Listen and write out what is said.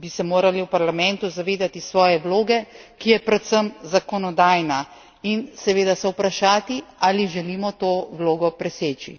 bi se morali v Parlamentu zavedati svoje vloge, ki je predvsem zakonodajna, in seveda se vprašati, ali želimo to vlogo preseči.